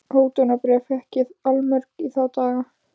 Hótunarbréf fékk ég allmörg í þá daga.